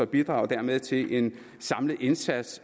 bidrage til en samlet indsats